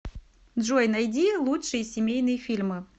джой найди лучшие семейные фильмы